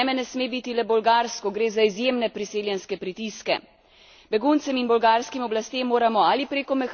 Beguncem in bolgarskim oblastem moramo ali preko mehanizma solidarnosti ali na drug ustrezen način zagotoviti pomoč.